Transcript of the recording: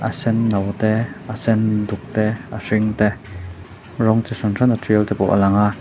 a sen no te a sen duk te a hring te rawng chi hran hrana ṭialte pawh a lang a--